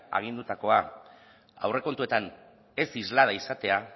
agindutakoa aurrekontuetan ez islada izatea